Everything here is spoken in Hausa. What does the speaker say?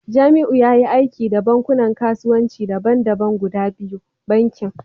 Jamiu yayi aiki da bankunan kasuwanci daban-daban guda biyu, bankin